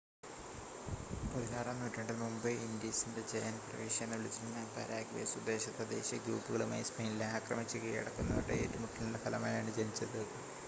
"16 ആം നൂറ്റാണ്ടിൽ മുമ്പ് "ഇൻഡീസിന്റെ ജയന്റ് പ്രവിശ്യ" എന്ന് വിളിച്ചിരുന്ന പരാഗ്വേ സ്വദേശ തദ്ദേശീയ ഗ്രൂപ്പുകളുമായി സ്പെയിനിലെ ആക്രമിച്ച് കീഴടക്കുന്നവരുടെ ഏറ്റുമുട്ടലിന്റെ ഫലമായാണ് ജനിച്ചത്.